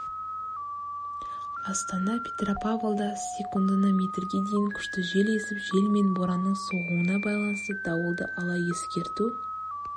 астана петропавлда секундына метрге дейін күшті жел есіп жел мен боранның соғуына байланысты дауылды ала ескерту